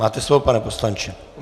Máte slovo, pane poslanče.